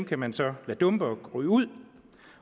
kan man så lade dumpe og ryge ud